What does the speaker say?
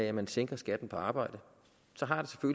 at man sænker skatten på arbejde så har